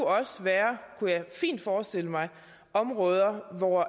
også være kunne jeg fint forestille mig områder hvor